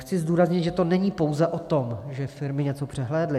Chci zdůraznit, že to není pouze o tom, že firmy něco přehlédly.